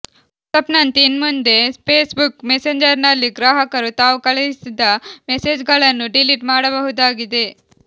ವಾಟ್ಸಪ್ನಂತೆ ಇನ್ಮುಂದೆ Facebook ಮೆಸೆಂಜರ್ನಲ್ಲಿ ಗ್ರಾಹಕರು ತಾವು ಕಳುಹಿಸಿದ ಮೆಸೇಜ್ಗಳನ್ನು ಡಿಲೀಟ್ ಮಾಡಬಹುದಾಗಿದೆ